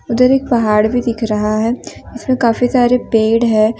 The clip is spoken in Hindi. उधर एक पहाड़ भी दिख रहा है जिसमें काफी सारे पेड़ है।